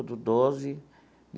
Do doze.